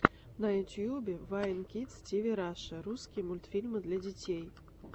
на ютубе вайн кидс тиви раша русский мультфильмы для детей